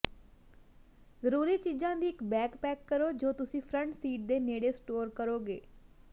ਜ਼ਰੂਰੀ ਚੀਜ਼ਾਂ ਦੀ ਇੱਕ ਬੈਗ ਪੈਕ ਕਰੋ ਜੋ ਤੁਸੀਂ ਫਰੰਟ ਸੀਟ ਦੇ ਨੇੜੇ ਸਟੋਰ ਕਰੋਗੇ